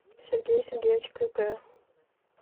сергее сергеевиче крюкове